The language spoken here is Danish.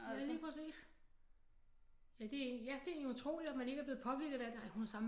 Ja lige præcis ja det er egentlig utroligt at man ikke er blevet påvirket af det ej hun har samme